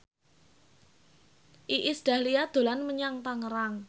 Iis Dahlia dolan menyang Tangerang